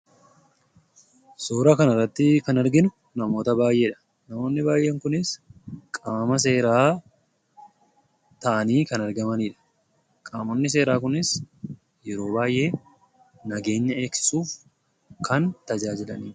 Suuraa kana irratti kan arginu namoota baayyeedha. Namoonni baayyeen kunis qaama seeraa ta'anii kan argamanidha. Qaamonni seeraa kunis yeroo baayyee nageenya eegsisuuf kan tajaajilaniidha.